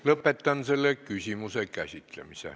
Lõpetan selle küsimuse käsitlemise.